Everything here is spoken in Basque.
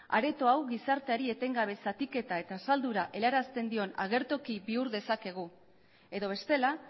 areto hau gizarteari etengabezatik eta azaldura helarazten dion agertoki bihur dezakegu edo bestela